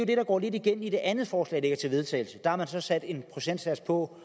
det der går lidt igen i det andet forslag til vedtagelse der har man så sat en procentsats på